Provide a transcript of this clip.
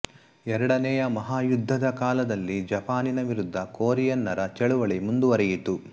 ಎರಡನೆಯ ಮಹಾಯುದ್ಧದ ಕಾಲದಲ್ಲಿ ಜಪಾನಿನ ವಿರುದ್ಧ ಕೊರಿಯನರ ಚಳವಳಿ ಮುಂದುವರಿಯಿತು